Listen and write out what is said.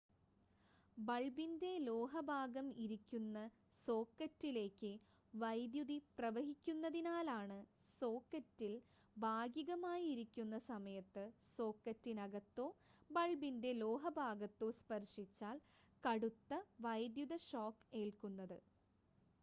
ബൾബിൻ്റെ ലോഹ ഭാഗം ഇരിക്കുന്ന സോക്കറ്റിലേക്ക് വൈദ്യുതി പ്രവഹിക്കുന്നതിനാലാണ് സോക്കറ്റിൽ ഭാഗികമായി ഇരിക്കുന്ന സമയത്ത് സോക്കറ്റിനകത്തോ ബൾബിൻ്റെ ലോഹ ഭാഗത്തോ സ്പർശിച്ചാൽ കടുത്ത വൈദ്യുത ഷോക്ക് ഏൽക്കുന്നത്